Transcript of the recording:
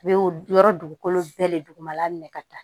Bɛ yɔrɔ dugukolo dugukolo bɛɛ le dugumala minɛ ka taa